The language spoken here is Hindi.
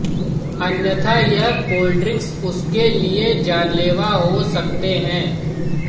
अन्यथा यह कोल्ड्रिंक्स उसके लिए जानलेवा हो सकते हैं